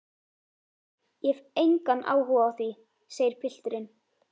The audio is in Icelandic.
Ég hef engan áhuga á því, segir pilturinn.